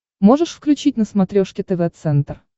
можешь включить на смотрешке тв центр